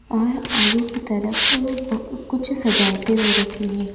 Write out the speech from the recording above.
और आगे की तरफ कु कुछ सजावटें हो रखी हैं।